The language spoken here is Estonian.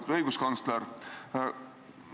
Lugupeetud õiguskantsler!